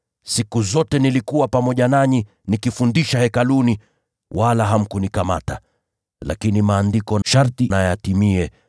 Siku kwa siku nilikuwa pamoja nanyi nikifundisha Hekaluni, wala hamkunikamata. Lakini Maandiko sharti yatimie.”